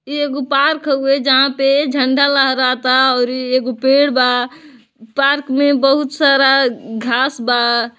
इ एगो पार्क होवे जहां पे झण्डा लहराता और एगो पेड़ बा पार्क में बहुत सारा घांस बा।